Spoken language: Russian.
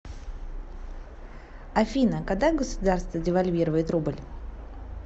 афина когда государство девальвирует рубль